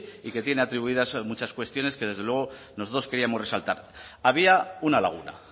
y que tiene atribuidas muchas cuestiones que desde luego nosotros queríamos resaltar había una laguna